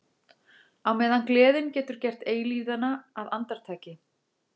Á meðan gleðin getur gert eilífðina að andartaki.